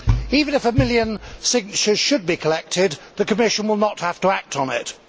Even if a million signatures should be collected, the Commission will not have to act on it.